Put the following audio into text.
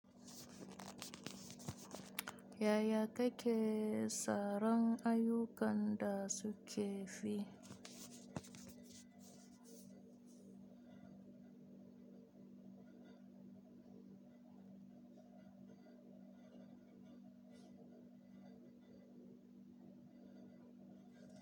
Yaya keke tsaron ayukan dasu ke fi?